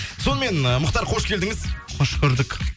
сонымен ы мұхтар қош келдіңіз қош көрдік